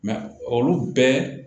olu bɛɛ